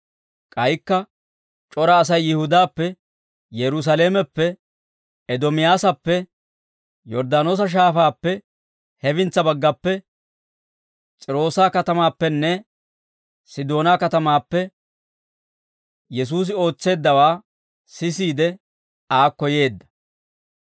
K'aykka c'ora Asay Yihudaappe, Yerusaalameppe, Eedomiyaasappe, Yorddaanoosa Shaafaappe hefintsa baggappe, S'iiroosa katamaappenne Sidoonaa katamaappe Yesuusi ootseeddawaa sisiide, aakko yeedda.